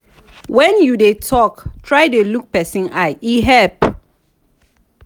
when you dey talk try dey look person eye e help.